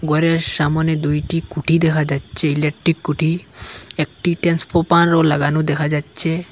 ঘরের সামোনে দুইটি খুঁটি দেখা যাচ্ছে ইলেকট্রিক খুঁটি একটি ট্রান্সফপারও লাগানো দেখা যাচ্ছে।